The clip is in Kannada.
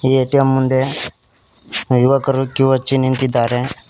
ಈ ಎ_ಟಿ_ಎಮ್ ಮುಂದೆ ಯುವಕರು ಕ್ಯೂ ಹಚ್ಚಿ ನಿಂತಿದ್ದಾರೆ.